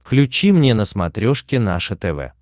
включи мне на смотрешке наше тв